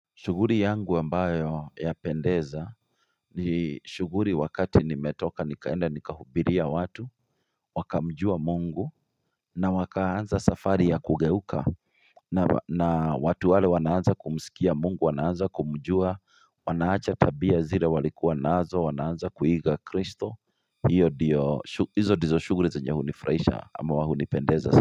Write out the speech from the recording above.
Shughuli yangu ambayo yapendeza ni shughuli wakati nimetoka nikaenda nikahubiria watu wakamjua mungu na wakaanza safari ya kugeuka na watu wale wanaanza kumsikia mungu wanaanza kumjua wanaacha tabia zile walikuwa nazo wanaanza kuiga kristo hiyo ndiyo hizo ndizo shughuli zenye hunifuraisha ama hunipendeza.